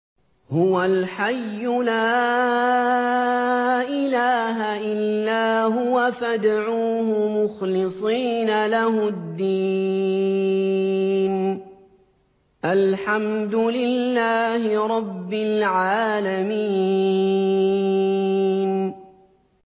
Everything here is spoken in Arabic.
هُوَ الْحَيُّ لَا إِلَٰهَ إِلَّا هُوَ فَادْعُوهُ مُخْلِصِينَ لَهُ الدِّينَ ۗ الْحَمْدُ لِلَّهِ رَبِّ الْعَالَمِينَ